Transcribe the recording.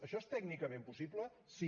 això és tècnicament possible sí